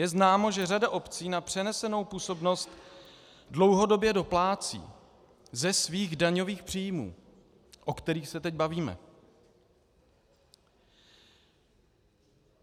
Je známo, že řada obcí na přenesenou působnost dlouhodobě doplácí ze svých daňových příjmů, o kterých se teď bavíme.